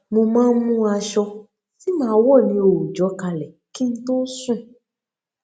mo máa n mú aṣọ tí màá wọ ní òòjọ kalẹ kí n tó sùn